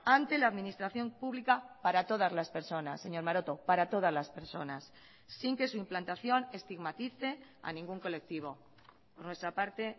ante la administración pública para todas las personas señor maroto para todas las personas sin que su implantación estigmatice a ningún colectivo por nuestra parte